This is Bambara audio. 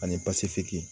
Ani basefiki